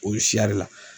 O siyɛri la